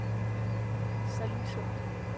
Sallingsund